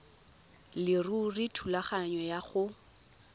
leruri thulaganyo ya go